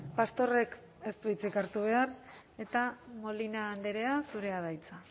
pastorrek ez du hitzik hartu behar eta molina andrea zurea da hitza